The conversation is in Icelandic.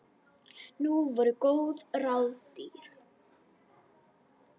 Nú voru góð ráð dýr!